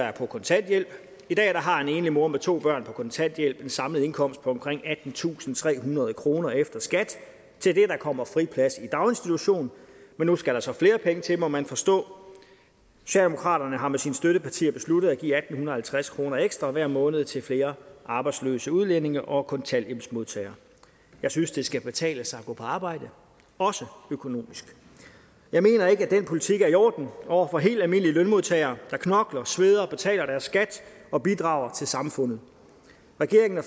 er på kontanthjælp i dag har en enlig mor med to børn på kontanthjælp en samlet indkomst på omkring attentusinde og trehundrede kroner efter skat til det kommer friplads i daginstitution men nu skal der så flere penge til må man forstå socialdemokraterne har med sine støttepartier besluttet at give atten halvtreds kroner ekstra hver måned til flere arbejdsløse udlændinge og kontanthjælpsmodtagere jeg synes det skal betale sig at gå på arbejde også økonomisk jeg mener ikke at den politik er i orden over for helt almindelige lønmodtagere der knokler sveder betaler deres skat og bidrager til samfundet regeringen og